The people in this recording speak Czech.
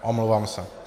Omlouvám se.